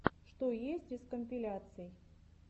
что есть из компиляций